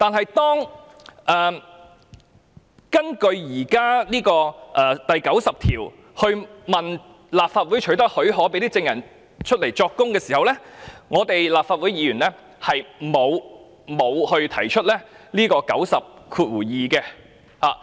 不過，在根據《議事規則》第90條向立法會取得許可，讓證人出庭作供時，立法會議員並沒有引用第902條。